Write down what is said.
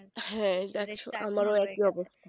হ্যাঁ আমারো একাই অবস্তা